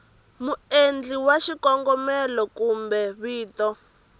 muendli wa xikombelo kumbe vito